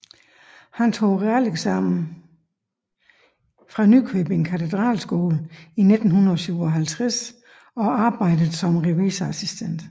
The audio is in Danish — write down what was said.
Han tog realeksamen fra Nykøbing Katedralskole i 1957 og arbejdede som revisorassistent